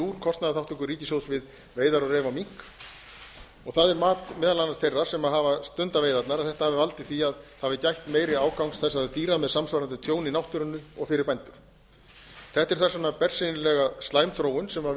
úr kostnaðarþátttöku ríkissjóðs við veiðar á ref og mink og það er mat meðal annars þeirra sem hafa stundað veiðarnar að þetta hafi valdið því að það hafi gætt meiri ágangs þessara dýra með samsvarandi tjón í náttúrunni og fyrir bændur þetta er þess vegna bersýnilega slæm þróun sem